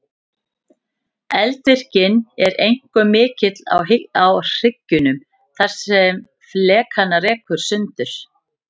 Eldvirknin er einkum mikil á hryggjunum þar sem flekana rekur sundur.